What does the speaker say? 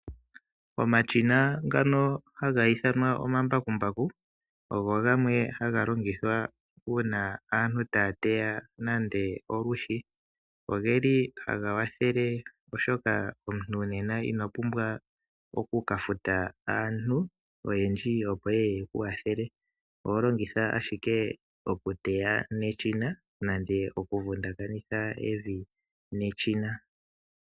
Omashina ngano haga ithanwa omambakumbaku ogo gamwe haga longithwa uuna aantu taya teya nande olwiishi . Ogeli haga wathele oshoka omuntu nena inopumbwa oku kafuta aantu oyendji opo yeye yeku wathele. Oho longitha ashike okuteya neshina nande oku vundakanekitha evi neshina.